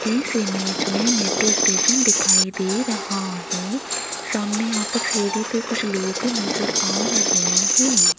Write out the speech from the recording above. इस इमेज में metro station दिखाई दे रहा है सामने यहां पर सीढ़ी पे कुछ लोग नजर आ रहे हैं।